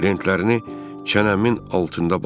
Lentlərini çənəmin altında bağladım.